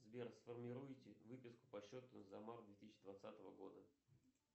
сбер сформируйте выписку по счету за март две тысячи двадцатого года